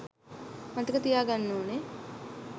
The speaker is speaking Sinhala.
මතක තියා ගන්න ඕන